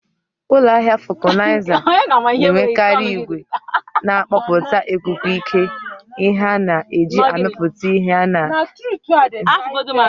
Ụlọ ahịa Vulcanizer na-enwekarị igwe na-agbapụta ikuku ike, ihe a na-eji amịpụta ihe na ndò ebe ọ ga-anọdụ ala.